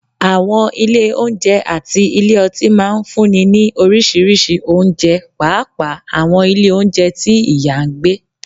Àwọn ilé oúnjẹ àti ilé ọtí máa ń fúnni ní oríṣiríṣi oúnjẹ, pàápàá àwọn ilé oúnjẹ tí ìyá ń gbé